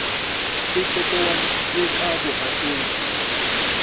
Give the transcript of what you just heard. e totobaditswe ka botebo mohatong